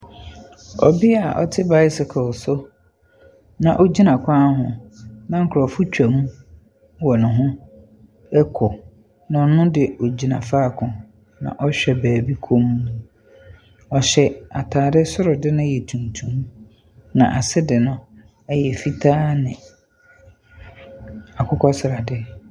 Ɔbea a ɔte bicycle so na ogyina kwan ho, na nkurɔfo twam wɔ ne ho kɔ, na ɔno de ogyina faako, na ɔhwɛ baabi komm. Ɔhyɛ ataade, soro de no yɛ tuntum, na ase de no yɛ fitaa ne akokɛ srade.